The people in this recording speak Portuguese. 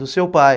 Do seu pai.